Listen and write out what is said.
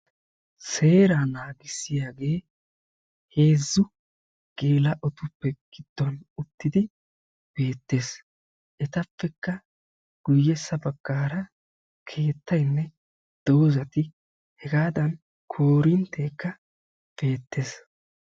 Seeraa naagissiyaagee heezzu geela'otuppe gidduwan uttidi beetees. Etappekka guyessa bagaara keettayne dozzatti heggadan koorinteekka beetees.